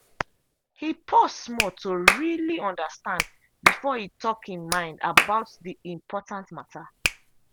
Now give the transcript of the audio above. he pause small to really understand before he talk him mind about the important matter.